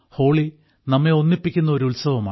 holy നമ്മെ ഒന്നിപ്പിക്കുന്ന ഒരു ഉത്സവമാണ്